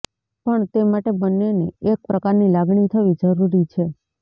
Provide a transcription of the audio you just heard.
પણ તે માટે બંનેને એક પ્રકારની લાગણી થવી જરૂરી છે